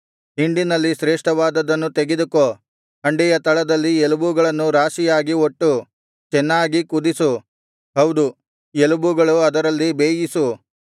ಹಿಂಡಿನಲ್ಲಿ ಶ್ರೇಷ್ಠವಾದದನ್ನು ತೆಗೆದುಕೋ ಹಂಡೆಯ ತಳದಲ್ಲಿ ಎಲುಬುಗಳನ್ನು ರಾಶಿಯಾಗಿ ಒಟ್ಟು ಚೆನ್ನಾಗಿ ಕುದಿಸು ಹೌದು ಎಲುಬುಗಳು ಅದರಲ್ಲಿ ಬೇಯಲಿ